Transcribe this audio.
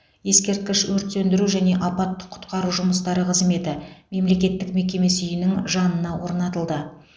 ескерткіш өрт сөндіру және апаттық құтқару жұмыстары қызметі мемлекеттік мекемесі үйінің жанына орнатылды